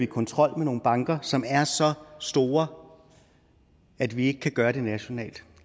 kontrol med nogle banker som er så store at vi ikke kan gøre det nationalt